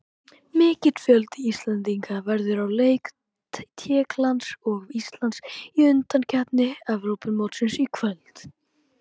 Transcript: Mikill fjöldi Íslendinga verður á leik Tékklands og Íslands í undankeppni Evrópumótsins í kvöld.